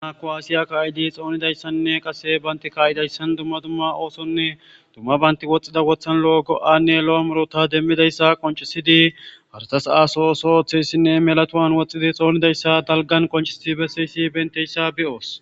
naku aasiya kaa7idi xoonidayssanne qase baynti kaa7idayssan dumma dumma oosonne dumma baynti woxxida wothan lo7o go7anne lo7o murota demmidayssa qoncisidi harsas aaso ooso ooththeyssinne melatowan woxxidi xoonidayssa dalgan qoncisidi besseyssi benteyssa be7oos